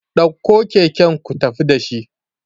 ɗauko kaken ku tafi da shi